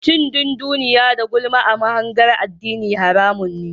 Cin dunduniya da gulma a mahangar addini haramun ne.